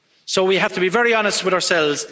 So we have to be very honest with ourselves.